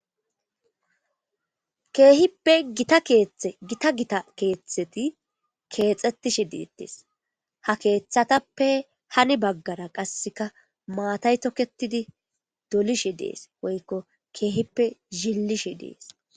Keehippe gita gita keeththeti keexxetishe deettes ha keeththatappe hani baggara qasseka maatay toketidi dolishe dees woykko keehippe zillishe dees.